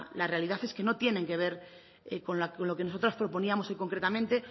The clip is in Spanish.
la realidad es que no tienen que ver con lo que nosotras proponíamos hoy concretamente